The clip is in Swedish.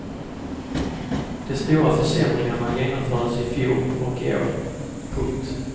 De stora försämringarna genomfördes i fjol och i år. punkt